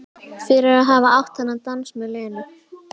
Fyrir að hafa átt þennan dans með Lenu.